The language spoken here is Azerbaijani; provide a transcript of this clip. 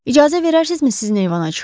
İcazə verərsizmi sizin eyvana çıxım?